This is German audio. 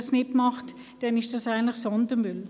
Macht man das nicht, sind sie Sondermüll.